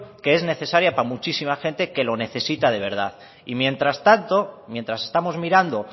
que es necesaria para muchísima gente que lo necesita de verdad y mientras tanto mientras estamos mirando